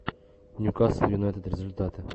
ньюкасл юнайтед результаты